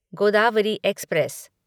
Godavari express